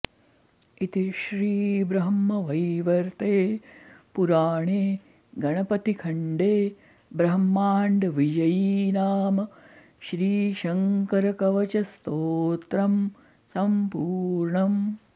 इति श्रीब्रह्मवैवर्ते पुराणे गणपतिखण्डे ब्रह्माण्डविजयी नाम श्रीशङ्करकवचस्तोत्रं सम्पूर्णम्